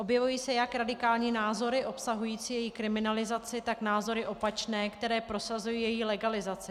Objevují se jak radikální názory obsahující její kriminalizaci, tak názory opačné, které prosazují její legalizaci.